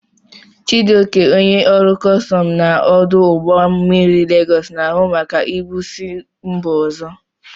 Chijioke, onye ọrụ kọstọm na ọdụ ụgbọ mmiri Legos, na-ahụ maka ibu si mba ozo.